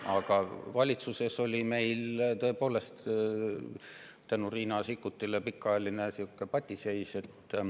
Aga valitsuses oli meil tõepoolest tänu Riina Sikkutile pikaajaline patiseis.